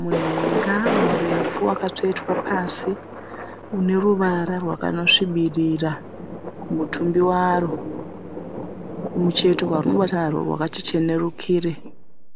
Munhenga murefu wakatsvetwa pasi. Uneruvara rwakanosvibirira kumutumbi waro. Kumucheto kwarinobatwa narwo rwakati chenerukire.